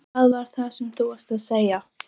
Hvað var það sem þú varst að segja?